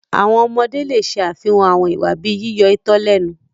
Àwọn ọmọde le ṣe afihan awọn iwa bii yiyọ itọ lẹnu